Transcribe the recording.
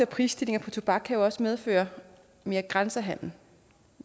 prisstigninger på tobak kan jo også medføre mere grænsehandel